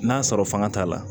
N'a sɔrɔ fanga t'a la